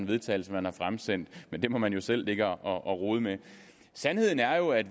vedtagelse man har fremsendt men det må man jo selv ligge og rode med sandheden er jo at